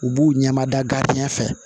U b'u ɲɛmada fɛ